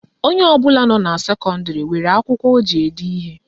Onye ọbụla nọ na sekọndịrị nwere akwụkwọ o ji ede ihe